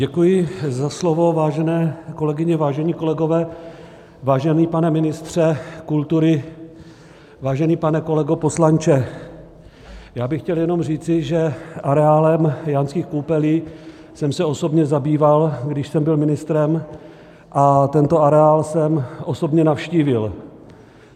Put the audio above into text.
Děkuji za slovo, vážené kolegyně, vážení kolegové, vážený pane ministře kultury, vážený pane kolego poslanče, já bych chtěl jenom říci, že areálem Jánských Koupelí jsem se osobně zabýval, když jsem byl ministrem, a tento areál jsem osobně navštívil.